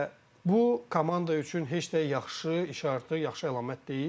Və bu komanda üçün heç də yaxşı, iş artıq, yaxşı əlamət deyil.